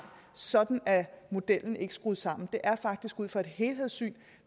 sådan er modellen ikke skruet sammen det er faktisk ud fra et helhedssyn